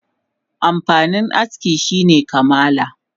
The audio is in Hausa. Amfanin aski shine kamala